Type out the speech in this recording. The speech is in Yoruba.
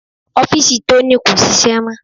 Ọ́fìsì Tony kò ṣiṣẹ́ mọ́.